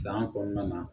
San kɔnɔna na